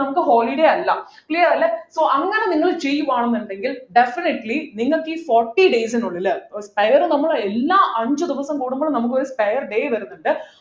നമുക്ക് holiday അല്ല clear അല്ലെ so അങ്ങനെ നിങ്ങൾ ചെയ്യുകയാണെന്നുണ്ടെങ്കിൽ definitely നിങ്ങൾക്ക് ഈ forty days നുള്ളില് നമ്മളെ എല്ലാ അഞ്ചുദിവസം കൂടുമ്പോഴും നമുക്കൊരു spare day വരുന്നുണ്ട്